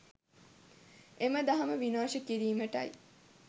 එම දහම විනාශ කිරීමටයි.